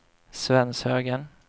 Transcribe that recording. Svenshögen